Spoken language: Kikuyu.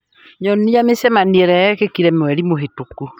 nyonia mĩcemanio ĩrĩa yekĩkire mweri mũhĩtũku